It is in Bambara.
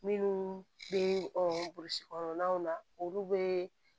Minnu bɛ burusi kɔnɔnaw na olu bɛ